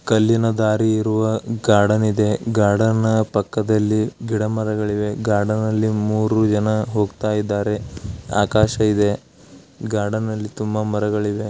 ಕಲ್ಲಿನ ದಾರಿ ಇರುವ ಗಾರ್ಡನ್ ಇದೆ ಗಾರ್ಡನ್ ಪಕ್ಕದಲಿ ಗಿಡ ಮರಗಳಿವೆ ಗಾರ್ಡನಳ್ಳಿ ಮೂರೂ ಜನ ಹೋಗ್ತಾಯಿದ್ದರೆ ಆಕಾಶ ಇದೆ ಗಾರ್ಡ್ನಲ್ಲಿ ತುಂಬಾ ಮರಗಳಿವೆ.